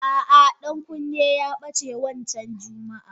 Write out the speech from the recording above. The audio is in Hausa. Ah ah Dankunni ya bace wancan jummaah.